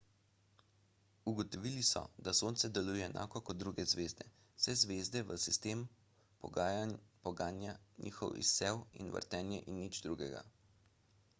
ugotovili so da sonce deluje enako kot druge zvezde vse zvezde v sistemu poganja njihov izsev in vrtenje in nič drugega